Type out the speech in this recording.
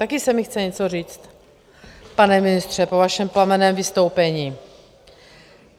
Taky se mi chce něco říct, pane ministře, po vašem plamenném vystoupení.